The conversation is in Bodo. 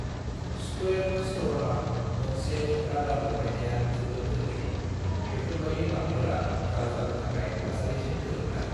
स्कुयेर स्टर्नआव मोनसे रादार लागायनाया जोबोद गोरलै, बेफोरबायदि नावफोरा जावजानो थाखाय थासारिजों गोरोबनाय।